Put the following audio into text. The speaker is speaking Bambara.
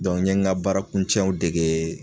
n ye n ka baarakuncɛw dege